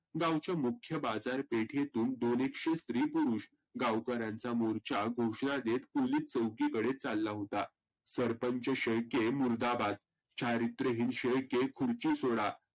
गावच्या मुख्य बाजार पेठेतून दोन एकशे स्री पुरुष गावकर्याचा मोर्चा घोषना देत पोलीस चौकी कडे चालला होता. सरपंच शेळके मुर्दाबाद चारीत्रहीन शेळके खुर्ची सोडा.